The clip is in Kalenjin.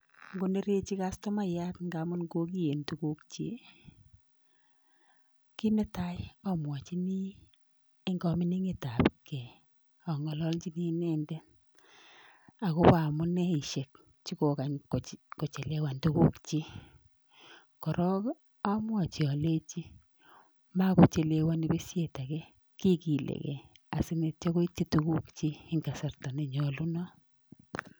Ngonerechi customayat ngamun kokiyen tugukchik ko kit netai amwochini eng kamining'etapgei ang'ololchini inendet akopo amuneishek chokokany kochelewan tugukchik korok amwochi alechi makochelewoni peshet ake, kikilegei asineityo koitchi tugukchik eng kasarta nenyolunot.